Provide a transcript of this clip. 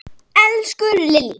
Elsku Lillý!